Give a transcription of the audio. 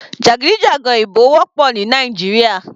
Jàgídíjàgan ìbò wọ́pọ̀ ní Nàìjíríà.